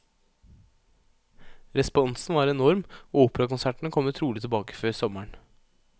Responsen var enorm, og operakonsertene kommer trolig tilbake før sommeren.